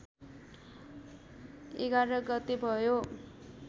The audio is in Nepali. ११ गते भयो